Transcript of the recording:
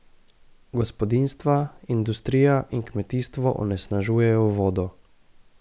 Gospodinjstva, industrija in kmetijstvo onesnažujejo vodo.